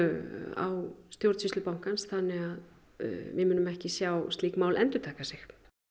á stjórnsýslu bankans þannig að við munum ekki sjá slík mál endurtaka sig